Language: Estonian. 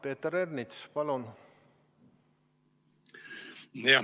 Peeter Ernits, palun!